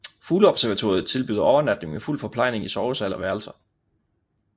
Fugleobservatoriet tilbyder overnatning med fuld forplejning i sovesal og værelser